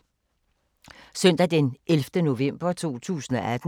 Søndag d. 11. november 2018